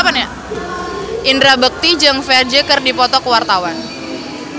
Indra Bekti jeung Ferdge keur dipoto ku wartawan